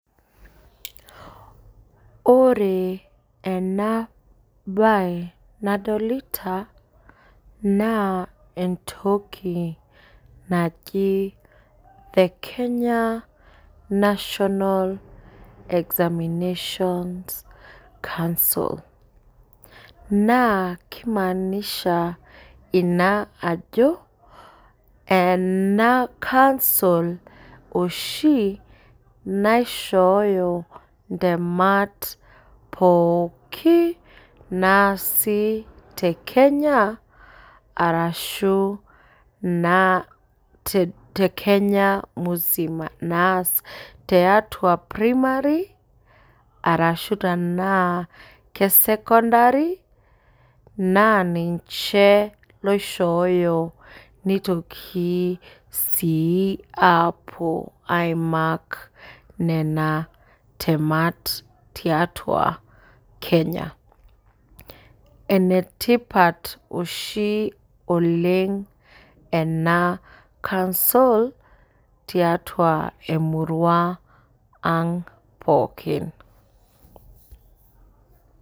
Ore enabae nadolita na entoki naji the kenya national examination s council na kimaanisha ina ajo enakansol ashi naishooyo ntemat poki naasi tekenya ashu tebkenya musima ashu naasi tiatua primary ashu secondary naninche oishooyo nitokibsi apuo aimark nona temat tiatua kenya enetipat oshi oleng enakansol tiatua emurua ang pookin .